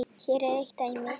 Hér er eitt dæmi.